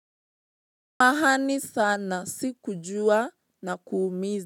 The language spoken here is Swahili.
Samahani sana sikujua nakuumizi.